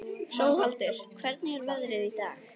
Hróaldur, hvernig er veðrið í dag?